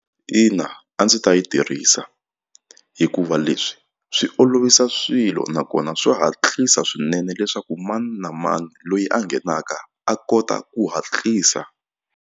Ina a ndzi ta yi tirhisa hikuva leswi swi olovisa swilo nakona swa hatlisa swinene leswaku mani na mani loyi a nghenaka a kota ku hatlisa.